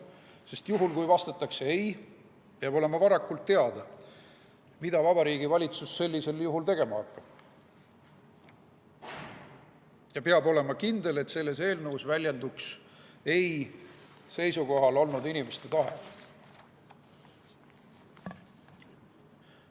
Sest kui vastatakse ei, peab olema varakult teada, mida Vabariigi Valitsus sellisel juhul tegema hakkab, ja peab olema kindel, et selles eelnõus väljenduks eitaval seisukohal olnud inimeste tahe.